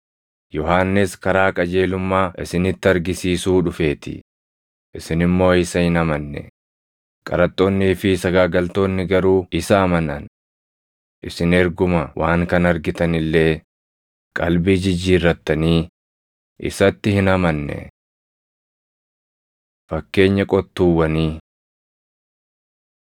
Yohannis karaa qajeelummaa isinitti argisiisuu dhufeetii; isin immoo isa hin amanne. Qaraxxoonnii fi sagaagaltoonni garuu isa amanan; isin erguma waan kana argitan illee qalbii jijjiirrattanii isatti hin amanne. Fakkeenya Qottuuwwanii 21:33‑46 kwf – Mar 12:1‑12; Luq 20:9‑19